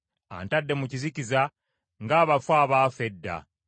Antadde mu kizikiza ng’abafu abaafa edda.